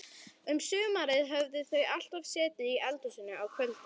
Um sumarið höfðu þau alltaf setið í eldhúsinu á kvöldin.